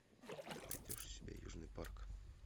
ты найдешь у себя южный парк